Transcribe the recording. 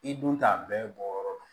I dun t'a bɛɛ bɔ yɔrɔ dɔn